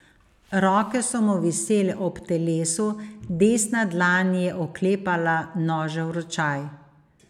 Roke so mu visele ob telesu, desna dlan je oklepala nožev ročaj.